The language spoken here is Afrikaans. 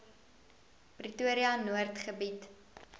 pretoria noord gebied